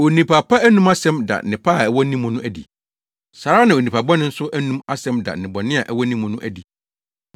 Onipa pa anom asɛm da nnepa a ɛwɔ ne mu no adi. Saa ara na onipa bɔne nso anom asɛm da nnebɔne a ɛwɔ ne mu no adi.